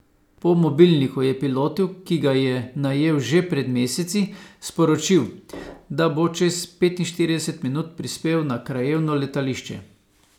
Po mobilniku je pilotu, ki ga je najel že pred meseci, sporočil, da bo čez petinštirideset minut prispel na krajevno letališče.